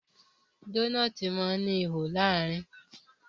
Dónáátì má ní ìwo láàrin.